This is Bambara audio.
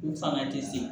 U fanga tɛ se